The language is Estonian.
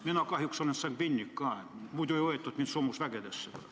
Mina kahjuks olen sangviinik, muidu ei oleks mind võetud soomusvägedesse.